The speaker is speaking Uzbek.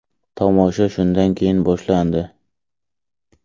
Tomosha shundan keyin boshlandi.